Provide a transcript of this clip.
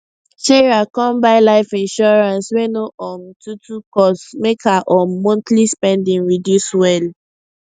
sarah come buy life insurance wey no um too too cost make her um monthly spending reduce well